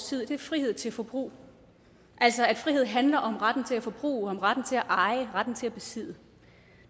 tid er frihed til forbrug altså at frihed handler om retten til at forbruge om retten til at eje retten til at besidde